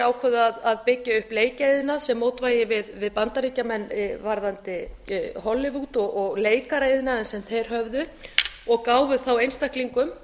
þeir ákváðu að byggja upp leikjaiðnað sem mótvægi við bandaríkjamenn varðandi hollywood og leikaraiðnaðinn sem þeir höfðu og gáfu þá einstaklingum